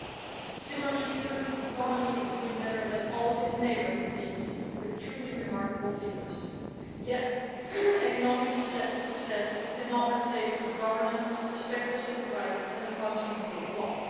Similarly, it seems that Turkey's economy is doing better than all its neighbours, with truly remarkable figures. Yet economic success cannot replace good governance, respect for civil rights and a functioning rule of law.